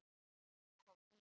Nú kom Nína.